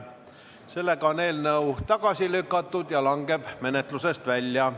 Sellega on eelnõu tagasi lükatud ja langeb menetlusest välja.